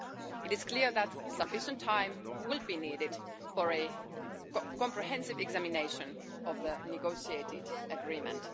It is clear that sufficient time will be needed for a comprehensive examination of the negotiated agreement.